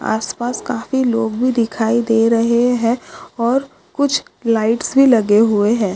आस पास काफी लोग भी दिखाई दे रहे है और कुछ लाइट्स भी लगे हुए है।